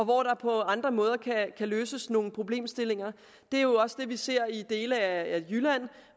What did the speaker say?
hvor der på andre måder kan løses nogle problemer det er også det vi ser i dele af jylland